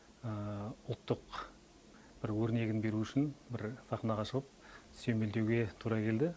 ұлттық өрнегін бір беру үшін бір сахнаға шығып сүйемелдеуге тура келді